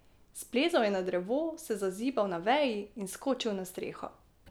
Splezal je na drevo, se zazibal na veji in skočil na streho.